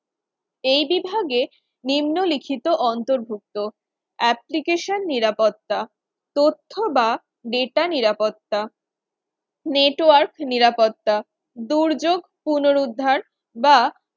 এই বিভাগের নিম্নলিখিত অন্তর্ভুক্ত Application নিরাপত্তা তথ্য বা data নিরাপত্তা network নিরাপত্তা দুর্যোগ পুনরুদ্ধার বা